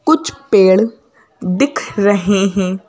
कुछ पेड़ दिख रहे हैं।